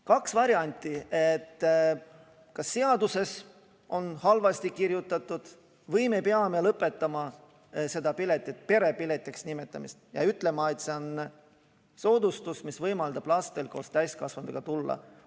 Kaks varianti: kas seaduses on see halvasti kirjutatud või me peame lõpetama selle pileti perepiletiks nimetamise ja ütlema, et see on soodustus, mis võimaldab lastel koos täiskasvanuga tulla.